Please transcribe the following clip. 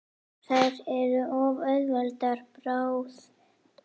Þær eru of auðveld bráð.